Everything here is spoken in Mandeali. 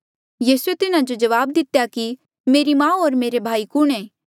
यीसूए तिन्हा जो जवाब दितेया कि मेरी माऊ होर मेरे भाई कुणहें